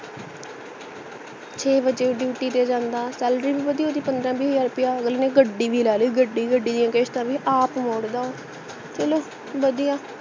ਛੇ ਬਜੇ duty ਤੇ ਜਾਂਦਾ salary ਭੀ ਵਧੀਆ ਓਹਦੀ ਪੰਦ੍ਰਹ ਬਿਹ ਹਜਾਰ ਰੁਪਯਾ ਅਗਲੇ ਨੇ ਗੜੀ ਭੀ ਲੈਲੀ ਗੜੀ ਭੀ ਗੜੀ ਦੀਆਂ ਕਿਸ਼ਤਾਂ ਭੀ ਆਪ ਮੋੜਦਾ ਉਹ ਚਲੋ ਵਧੀਆ